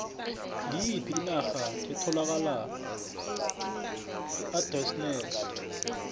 ngiyiphi inarha etholakala eardennes